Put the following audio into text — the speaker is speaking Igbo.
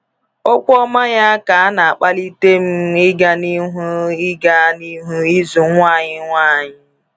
Okwu ọma ya ka na-akpalite m ịga n’ihu ịga n’ihu ịzụ nwa anyị nwanyị.